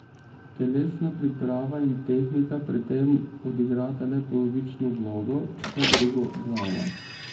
Telesna priprava in tehnika pri tem odigrata le polovično vlogo, vse drugo glava.